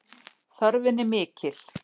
Þörfin er mikil